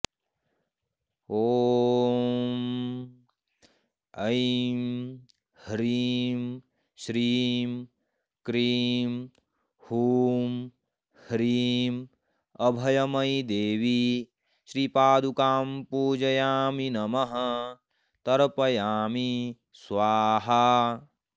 ॐ ऐं ह्रीं श्रीं क्रीं हूं ह्रीं अभयमयीदेवी श्रीपादुकां पूजयामि नमः तर्पयामि स्वाहा